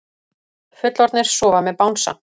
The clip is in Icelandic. Fullorðnir sofa með bangsa